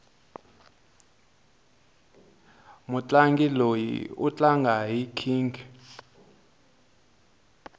mutlangi loyi u tlanga hi nkhinkhi